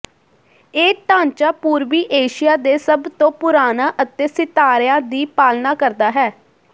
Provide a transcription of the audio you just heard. ਇਹ ਢਾਂਚਾ ਪੂਰਬੀ ਏਸ਼ੀਆ ਦੇ ਸਭ ਤੋਂ ਪੁਰਾਣਾ ਅਤੇ ਸਿਤਾਰਿਆਂ ਦੀ ਪਾਲਣਾ ਕਰਦਾ ਹੈ